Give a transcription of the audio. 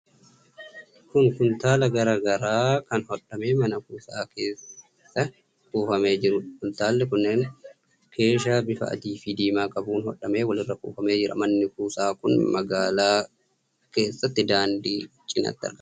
Kun kuntaala garaa garaa kan hodhamee mana kuusaa keessa kuufamee jiruudha. Kuntaalli kunneen keeshaa bifa adii fi diimaa qabuun hodhamee walirra tuulamee jira. Manni kuusaa kun magaalaa keessatti daandii cinatti argama.